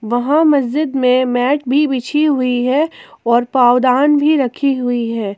वहां मस्जिद में मैट भी बिछी हुई है और पावदान भी रखी हुई है।